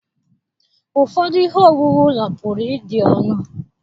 Ụfọdụ ihe owuwu ụlọ pụrụ ịdị ọnụ.